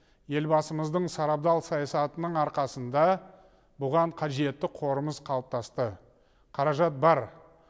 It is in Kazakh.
елбасымыздың сарабдал саясатының арқасында бұған қажетті қорымыз қалыптасты қаражат бар